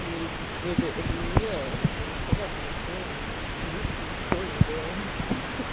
говорит ну это это не я это сова подошёл и брызги крови да ха-ха